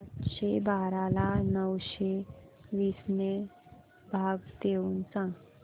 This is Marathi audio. आठशे बारा ला नऊशे वीस ने भाग देऊन सांग